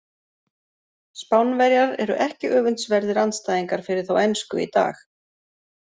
Spánverjar eru ekki öfundsverðir andstæðingar fyrir þá ensku í dag.